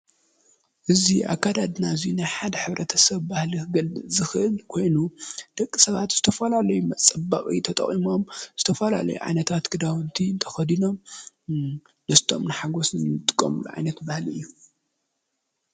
እዚ ኣከዳድና እዚ ናይ ሓደ ሕብረተሰብ ባህሊ ክገልፅ ዝክእል ኮይኑ ደቂ ሰባት ዝተፈላለዩ መፀበቂ ተጠቂሞም ዝተፈላለዩ ዓይነታት ክዳዉንቲ ተከዲኖም ደስትኦምን ሓጎስን ዝጥቀምሉ ዓይነት ባህሊ እዩ።